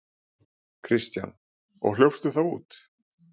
Kristján: Og hljópstu þá út?